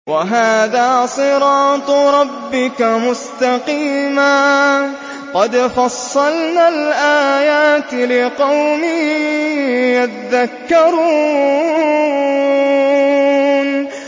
وَهَٰذَا صِرَاطُ رَبِّكَ مُسْتَقِيمًا ۗ قَدْ فَصَّلْنَا الْآيَاتِ لِقَوْمٍ يَذَّكَّرُونَ